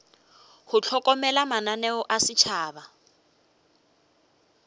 go hlokomela mananeo a setšhaba